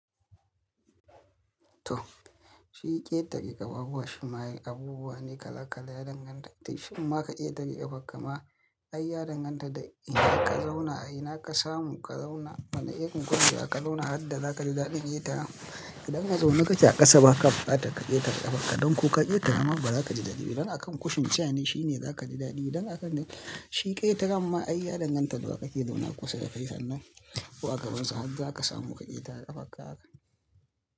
To, shi ƙetare ƙafafuwa shi ma yin abubuwa ne kala kala ya danganta. Amma ka iya taɓe ƙafar ka ma, ai ya danganta da inda ka zauna, a ina ka samu ka zauna. Wane irin ƙungiyar ka zauna har da za ka ji daɗin ƙetara. Idan a zaune kake a ƙasa, ba ka ɓukata ka ƙeta ƙafarka don ko ka ƙetara ma ba za ka ji daɗi ba. Dan akan kushin ciyani shi ne za ka ji daɗi. Dan akan shi ƙetaramma ai ya danganta da wa yake zauna kusa da kai sannan ko a gabansa har za ka samu ka ƙetara ƙafarka haka.